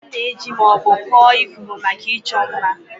A na-eji ma ọ bụ kụọ ifuru maka ịchọ mma.